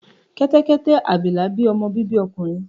kẹtẹkẹtẹ abilà bí ọmọ bibi ọkùnrin.